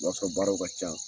O b'a sɔrɔ baaraw ka ca.